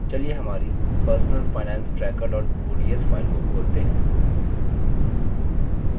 चलिए हमारी personal finance tracker ods file को खोलते हैं